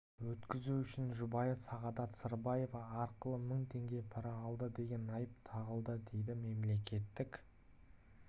өткізу үшін жұбайы сағадат сырбаева арқылы мың теңге пара алды деген айып тағылды дейді мемлекеттік